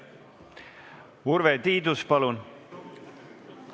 Urve Tiidus, palun!